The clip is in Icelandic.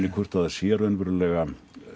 hvort það sé raunverulega